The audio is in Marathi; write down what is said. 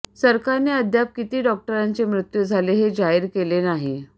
सरकारने अद्याप किती डॉक्टरांचे मृत्यू झाले हे जाहीर केले नाही